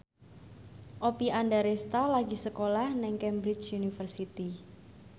Oppie Andaresta lagi sekolah nang Cambridge University